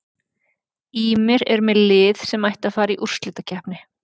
Ýmir er með lið sem ætti að fara í úrslitakeppni.